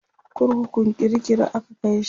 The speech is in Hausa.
kurkukun kirikiri aka Kai shi